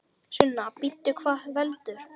Sunna: Bíddu, hvað veldur?